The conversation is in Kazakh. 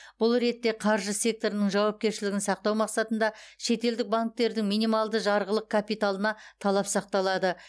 бұл ретте қаржы секторының жауапкершілігін сақтау мақсатында шетелдік банктердің минималды жарғылық капиталына талап сақталады